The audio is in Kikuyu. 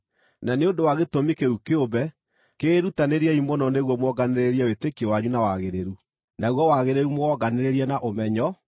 Na nĩ ũndũ wa gĩtũmi kĩu kĩũmbe, kĩĩrutanĩriei mũno nĩguo muonganĩrĩrie wĩtĩkio wanyu na wagĩrĩru; naguo wagĩrĩru mũwonganĩrĩrie na ũmenyo;